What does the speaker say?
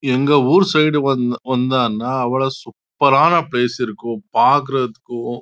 இங்க ஓர் சைடு போனீங்க ந சூப்பர் ஆனா பிலெஸ் இருக்கும் அங்க போனும் பாக்கறதுக்கு